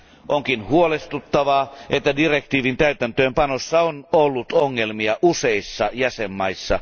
Onkin huolestuttavaa, että direktiivin täytäntöönpanossa on ollut ongelmia useissa jäsenmaissa.